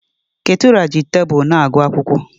Ketura ji tebụl na-agụ akwụkwọ.